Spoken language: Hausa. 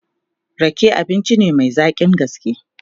Rake abinci ne Mai zaƙin gaske